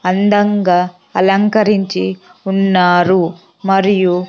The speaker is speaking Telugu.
అందంగా అలంకరించి ఉన్నారు మరియు--